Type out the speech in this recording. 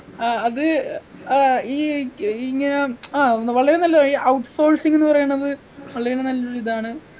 ആഹ് അത് ഏർ ഈ ഈ ഇങ്ങനെ ആഹ് വളരെ നല്ലതാ ഈ out sourcing ന്ന് പറയണത് ഉള്ളതിന് നല്ലൊരു ഇതാണ്